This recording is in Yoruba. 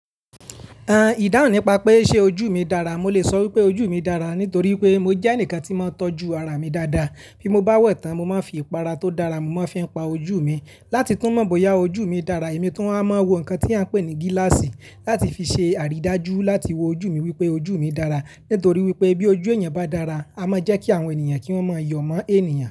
Ehn, ìdáhùn nípa pé ṣe ojú mi dára, mo lè sọ wípé ojú mi dára nítorí pé mo jẹ́ ẹnìkan tí n máa ń tọ́jú ara mi dáadáa. Bí mo bá wẹ̀ tán, mo máa ń fi ìpara tó dára you mu, mo máa ń fi pa ojú mi láti tún mọ̀ bóyá ojú mi dára. Èmi tun a máa ń wọ nǹkan tí à ń pè ní gíláàsì láti fi ṣe àrídájú láti wo ojú mi wípé ojú mi dára. Nítorí wípé bí ojú èyàn bá dára, a máa ń jẹ́ kí àwọn èniyàn kí wọ́n máa yọ̀ mọ́ ènìyàn.